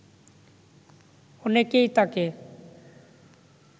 অনেকেই তাকে